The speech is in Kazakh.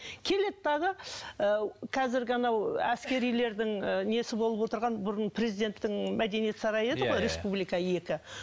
келеді дағы ы қазіргі анау әскерилердің і несі болып отырған бұрын президенттің мәдениет сарайы еді ғой республика екі